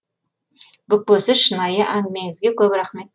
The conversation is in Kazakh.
бүкпесіз шынайы әңгімеңізге көп рахмет